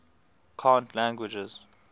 cant languages